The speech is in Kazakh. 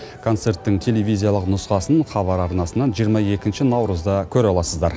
концерттің телевизиялық нұсқасын хабар арнасынан жиырма екінші наурызда көре аласыздар